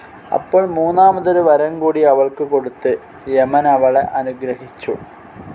അപ്പോൾ മൂന്നാമതൊരു വരംകൂടി അവൾക്ക് കൊടുത്ത് യമനവളെ അനുഗ്രഹിച്ചു.